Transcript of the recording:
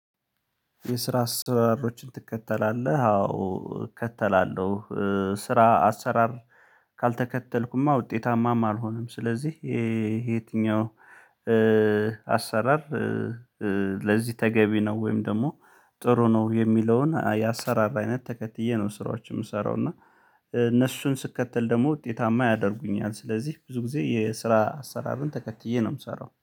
የስራ አሰራሮችን ትከተላለህ አዎ እከተላለሁ። ስራ አሰራር ካልተከተልኩማ ውጤታማም አልሆነም ስለዚህ። የትኛው አሰራር ለዚህ ተገቢ ነው ወይም ደግሞ ጥሩ ነው? የሚለውን የአሰራር አይነት ተከትዬ ነው ስራዎች የምሰራው። እና እነሱን ስከተል ደግሞ ውጤታማ ያደርጉኛል። ስለዚህ ብዙ ጊዜ የስራ አሰራርን ተከትዬ ነው የምሰራው